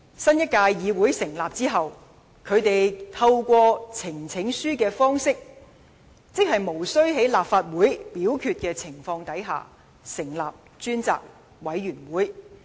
新一屆立法會成立後，反對派便透過呈請書的方式，在無需經由立法會表決的情況下，成立專責委員會。